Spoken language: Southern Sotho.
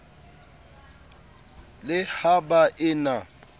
le ha ba e na